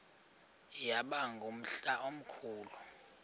yaba ngumhla omkhulu